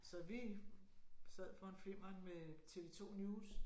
Så vi sad foran flimmeren med TV 2 News